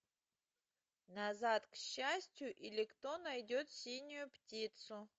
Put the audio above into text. назад к счастью или кто найдет синюю птицу